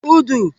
ùdù